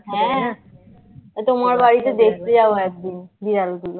হ্যাঁ হ্যাঁ. এই তোমার বাড়িতে দেখতে যাবো একদিন বিড়াল গুলোকে